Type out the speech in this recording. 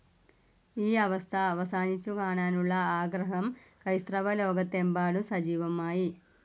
ഈ അവസ്ഥ അവസാനിച്ചു കാണാനുള്ള ആഗ്രഹം ക്രൈസ്തവലോകത്തെമ്പാടും സജീവമായി.